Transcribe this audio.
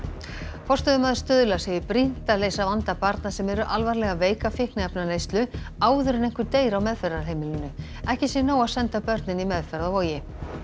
forstöðumaður Stuðla segir brýnt að leysa vanda barna sem eru alvarlega veik af fíkniefnaneyslu áður en einhver deyr á meðferðarheimilinu ekki sé nóg að senda börnin í meðferð á Vogi